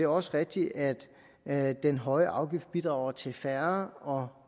også rigtigt at at den høje afgift bidrager til færre og